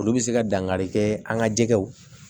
Olu bɛ se ka dankari kɛ an ka jɛgɛw